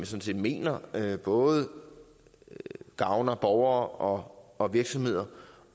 set mener både gavner borgere og virksomheder